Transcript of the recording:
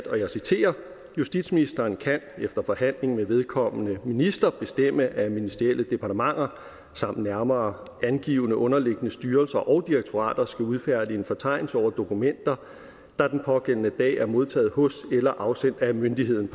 justitsministeren kan efter forhandling med vedkommende minister bestemme at ministerielle departementer samt nærmere angivne underliggende styrelser og direktorater skal udfærdige en fortegnelse over dokumenter der den pågældende dag er modtaget hos eller afsendt af myndigheden